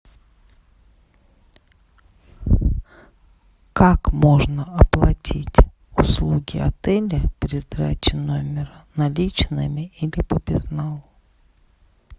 как можно оплатить услуги отеля при сдаче номера наличными или по безналу